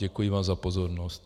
Děkuji vám za pozornost.